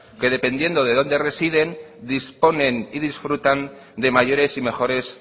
que dependiendo de dónde residen disponen y disfrutan de mayores y mejores